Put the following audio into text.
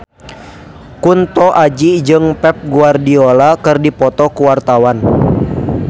Kunto Aji jeung Pep Guardiola keur dipoto ku wartawan